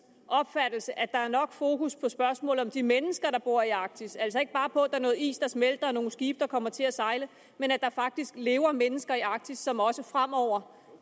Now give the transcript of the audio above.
opfattelse at der er nok fokus på spørgsmålet om de mennesker der bor i arktis altså ikke bare på at der er noget is der smelter og nogle skibe der kommer til at sejle men at der faktisk lever mennesker i arktis som også fremover